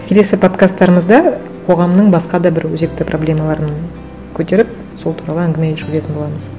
келесі подкасттарымызда қоғамның басқа да бір өзекті проблемаларын көтеріп сол туралы әңгіме жүргізетін боламыз